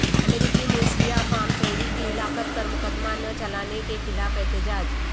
امریکی میں سیاہ فام شہری کی ہلاکت پر مقدمہ نہ چلانے کے خلاف احتجاج